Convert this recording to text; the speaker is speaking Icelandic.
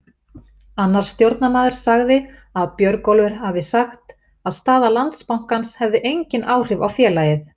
Annar stjórnarmaður sagði að Björgólfur hafi sagt að staða Landsbankans hefði engin áhrif á félagið.